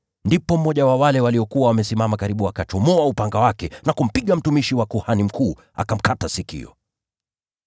Ndipo mmoja wa wale waliokuwa wamesimama karibu aliuchomoa upanga wake na kumpiga mtumishi wa kuhani mkuu, akamkata sikio.